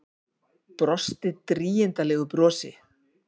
Brosti drýgindalegu brosi.